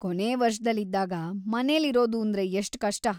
ಕೊನೇ ವರ್ಷದಲ್ಲಿದ್ದಾಗ ಮನೇಲಿರೋದೂಂದ್ರೆ ಎಷ್ಟ್ ಕಷ್ಟ.